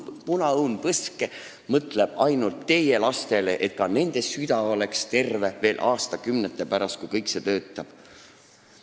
Punaõun Põske mõtleb ainult teie lastele, et ka nende süda oleks terve aastakümnete pärast, et see töötaks.